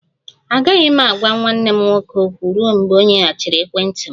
Agaghị m agwa nwanne m nwoke okwu ruo mgbe ọ nyeghachiri ekwentị m